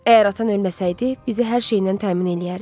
Əgər atan ölməsəydi, bizi hər şeylə təmin eləyərdi.